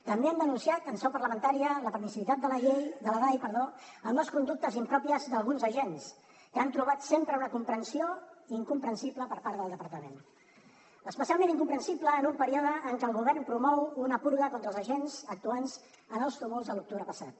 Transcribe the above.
també hem denunciat en seu parlamentària la permissivitat de la dai amb les conductes impròpies d’alguns agents que han trobat sempre una comprensió incomprensible per part del departament especialment incomprensible en un període en què el govern promou una purga contra els agents actuants en els tumults de l’octubre passat